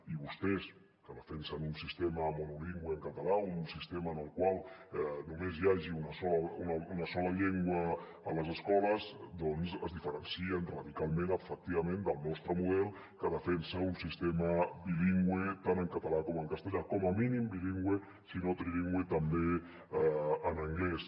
i vostès que defensen un sistema monolingüe en català un sistema en el qual només hi hagi una sola llengua a les escoles doncs es diferencien radicalment efectivament del nostre model que defensa un sistema bilingüe tant en català com en castellà com a mínim bilingüe si no trilingüe també en anglès